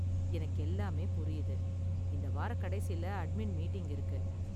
எனக்கு எல்லாமே புரியுது, இந்த வாரக்கடைசியில அட்மின் மீட்டிங் இருக்கு